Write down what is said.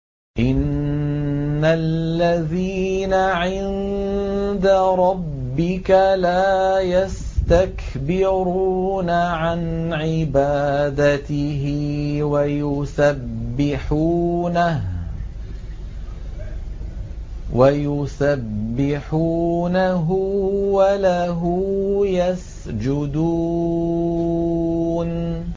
إِنَّ الَّذِينَ عِندَ رَبِّكَ لَا يَسْتَكْبِرُونَ عَنْ عِبَادَتِهِ وَيُسَبِّحُونَهُ وَلَهُ يَسْجُدُونَ ۩